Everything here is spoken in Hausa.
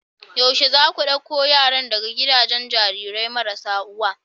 yaushe zaku dauko yaran daga gidajen Jarirai marasa uwa